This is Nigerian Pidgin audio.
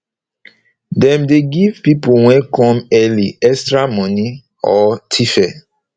dem dey give pipo wey come early extra moni or tfare